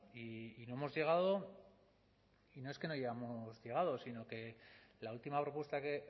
y no hemos llegado y no es que no hayamos llegado sino que la última propuesta que